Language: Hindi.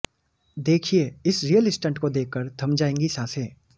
देखिए इस रियल स्टंट को देखकर थम जाएगी सांसें